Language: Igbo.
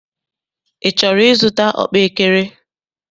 Ị chọrọ ịzụta ọkpaekere?